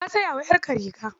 Ka saya wa 'yarka riga.